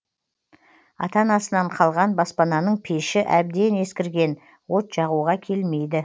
ата анасынан қалған баспананың пеші әбден ескірген от жағуға келмейді